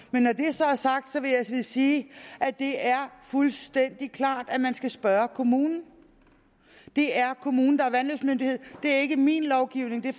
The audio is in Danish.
så er sagt forstå vil jeg sige at det er fuldstændig klart at man skal spørge kommunen det er kommunen der er vandløbsmyndighed det er ikke min lovgivning det er